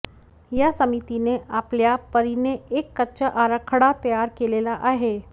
या समितीने आपल्या परीने एक कच्चा आराखडा तयार केलेला आहे